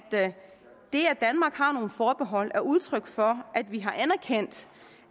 det at danmark har nogle forbehold er udtryk for at vi har anerkendt